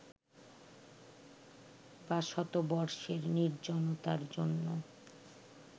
বা ‘শতবর্ষের নির্জনতা’র জন্য